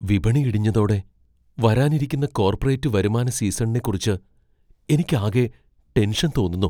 വിപണി ഇടിഞ്ഞതോടെ വരാനിരിക്കുന്ന കോർപ്പറേറ്റ് വരുമാന സീസണിനെക്കുറിച്ച് എനിക്ക് ആകെ ടെൻഷൻ തോന്നുന്നു.